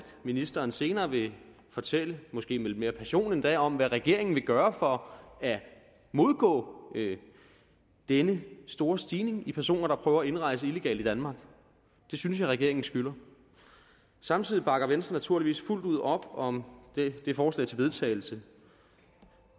ministeren senere vil fortælle måske med lidt mere passion endda om hvad regeringen vil gøre for at modgå denne store stigning i personer der prøver at indrejse illegalt i danmark det synes jeg regeringen skylder samtidig bakker venstre naturligvis fuldt ud op om det forslag til vedtagelse